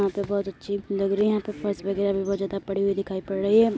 यहाँ पे बहोत अच्छी लग रही है | यहाँ पे फर्श वगैरा बोहोत ज्यादा पड़ी हुई दिखाई पड़ रही है।